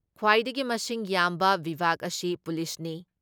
ꯈ꯭ꯋꯥꯏꯗꯒꯤ ꯃꯁꯤꯡ ꯌꯥꯝꯕ ꯕꯤꯚꯥꯒ ꯑꯁꯤ ꯄꯨꯂꯤꯁꯅꯤ꯫